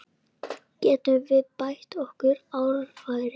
Getum við bætt okkar orðfæri?